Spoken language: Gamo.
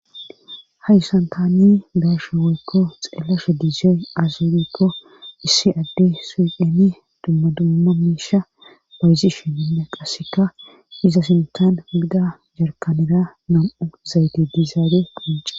Haysan taane be'asha weykko xeelashe dizey aazerikko issi adde siemi dumma dumma miisha bayzi sheenne qasseka iza sintan bida jarkanera nam7u zayde diizaare phonce.